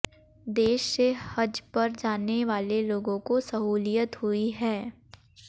देश से हज पर जाने वाले लोगों को सहूलियत हुई है